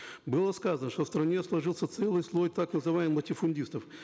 было сказано что в стране сложился целый слой так называемых латифундистов